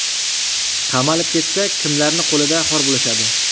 Qamalib ketsak, kimlarni qo‘lida xor bo‘lishadi?